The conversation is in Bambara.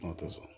Aw tɛ sɔn